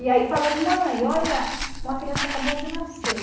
E aí falou, mãe, olha, uma criança acabou de nascer.